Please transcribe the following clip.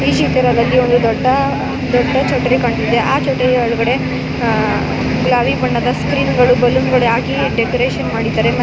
ಈ ಚಿತ್ರದಲ್ಲಿ ಒಂದು ದೊಡ್ಡ ದೊಡ್ಡ ಛತ್ರಿ ಕಾಣುತ್ತಿದೆ ಆ ಛತ್ರಿ ಒಳಗಡೆ ಗುಲಾಬಿ ಬಣ್ಣದ ಸ್ಕ್ರೀನ್ಗಳು ಬಲೂನ್ಗ ಳನ್ನ ಹಾಕಿ ಡೆಕೋರೇಷನ್ ಮಾಡಿದ್ದಾರೆ.